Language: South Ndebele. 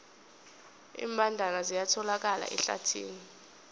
iimbandana ziyatholakala ehlathini